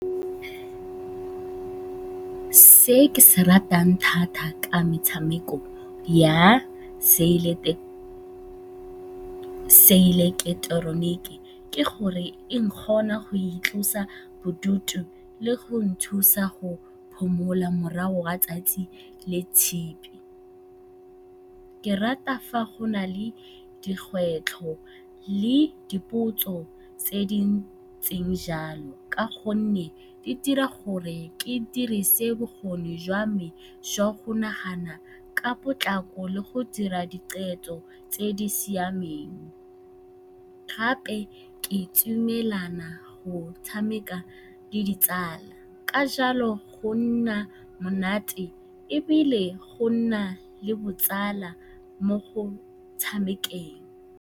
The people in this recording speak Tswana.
Se ke se ratang thata ka metshameko ya seileketeroniki ke gore e nkgontsha go itlosa bodutu le go nthusa go phomola morago ga 'tsatsi le le tshipi. Ke rata fa go na le dikgwetlho le dipotso tse di ntseng jalo ka gonne e dira gore ke dirise bokgoni jwa me jwa go nagana ka potlako le go dira diqetho tse di siameng. Gape, ke itumelela go tshameka le ditsala. Ka jalo, go nna monate ebile go nna le botsala mo go tshamekeng.